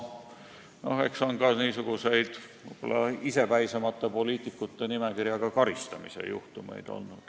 Eks on olnud ka isepäisemate poliitikute nimekirjaga karistamise juhtumeid.